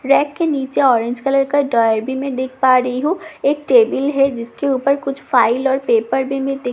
rake के नीचे orange colour का ड्रायर भी मैं देख पा रही हूं एक टेबल है जिसके ऊपर कुछ फाइल और पेपर भी मैं देख पा --